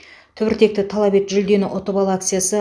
түбіртекті талап ет жүлдені ұтып ал акциясы